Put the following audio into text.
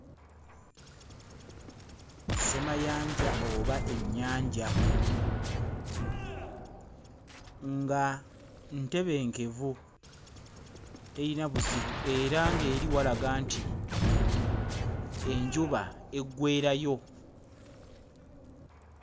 Ssemayanja oba ennyanja nga ntebenkenvu, terina buzibu era ng'eri walaga nti enjuba eggweerayo.